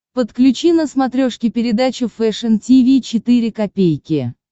подключи на смотрешке передачу фэшн ти ви четыре ка